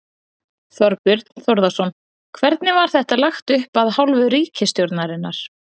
Þorbjörn Þórðarson: Hvernig var þetta lagt upp af hálfu ríkisstjórnarinnar?